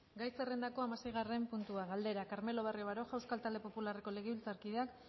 gai zerrendako hamaseigarren puntua galdera carmelo barrio baroja euskal talde popularreko legebiltzarkideak